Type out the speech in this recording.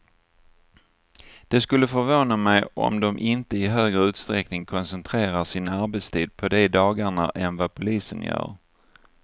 Det skulle förvåna mig om de inte i högre utsträckning koncentrerar sin arbetstid på de dagarna än vad polisen gör.